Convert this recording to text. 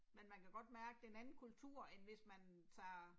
Men man kan godt mærke det er en anden kultur end hvis man tager